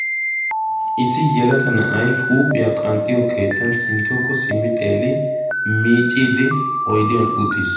issi yalaga na7ai huuphiyaa qanxxiyo keettan sinttookko simmi xeeli miicciiddi oidiyan uttiis